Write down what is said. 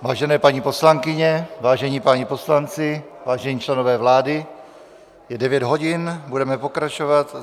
Vážené paní poslankyně, vážení páni poslanci, vážení členové vlády, je 9 hodin, budeme pokračovat.